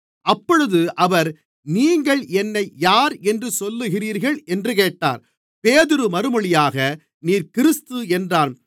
அப்பொழுது அவர் நீங்கள் என்னை யார் என்று சொல்லுகிறீர்கள் என்று கேட்டார் பேதுரு மறுமொழியாக நீர் கிறிஸ்து என்றான்